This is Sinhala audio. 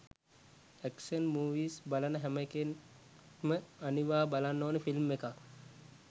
ඇක්ෂන් මූවීස් බලන හැම එකෙක්ම අනිවා බලන්න ඕනේ ෆිල්ම් එකක්.